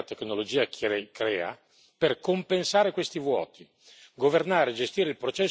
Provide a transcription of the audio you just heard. utilizzare la ricchezza che la tecnologia crea per compensare questi vuoti.